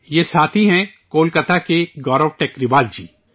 یہ ساتھی ہیں کولکاتا کے گورو ٹیکری وال جی